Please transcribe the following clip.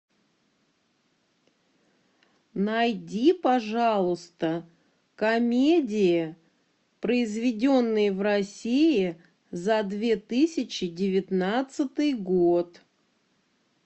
найди пожалуйста комедии произведенные в россии за две тысячи девятнадцатый год